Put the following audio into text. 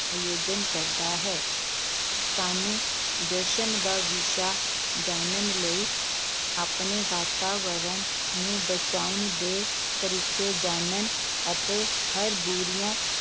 ਆਯੋਜਨ ਕਰਦਾ ਹੈ, ਸਾਨੂੰ ਜਸ਼ਨ ਦਾ ਵਿਸ਼ਾ ਜਾਣਨ ਲਈ ਆਪਣੇ ਵਾਤਾਵਰਨ ਨੂੰ ਬਚਾਉਣ ਦੇ ਤਰੀਕੇ ਜਾਣਨ ਅਤੇ ਹਰ ਬੁਰੀਆਂ